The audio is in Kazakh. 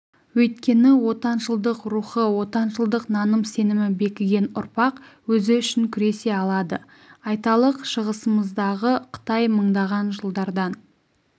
өйткені отаншылдық рухы отаншылдық наным-сенімі бекіген ұрпақ өзі үшін күресе алады айталық шығысымыздағы қытай мыңдаған жылдардан